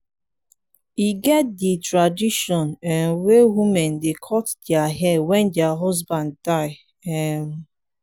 e get di tradition um wey women dey cut their hair wen their husband die. um